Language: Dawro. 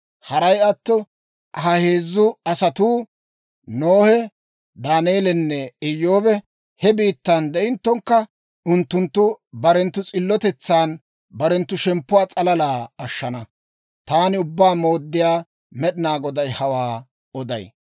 Haray atto ha heezzu asatuu, Nohe, Daaneelinne Iyyoobi he biittan de'inttokka, unttunttu barenttu s'illotetsan barenttu shemppuwaa s'alala ashshana. Taani Ubbaa Mooddiyaa Med'inaa Goday hawaa oday.